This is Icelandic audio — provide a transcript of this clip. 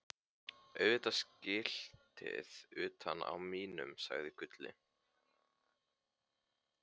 Auðvitað skiltið utan á mínum, sagði Gulli.